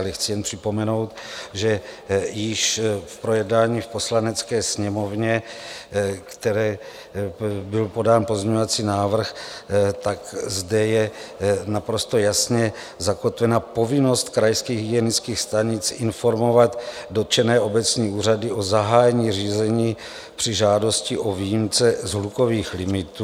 Ale chci jen připomenout, že již v projednání v Poslanecké sněmovně, které byl podán pozměňovací návrh, tak zde je naprosto jasně zakotvena povinnost krajských hygienických stanic informovat dotčené obecní úřady o zahájení řízení při žádosti o výjimce z hlukových limitů.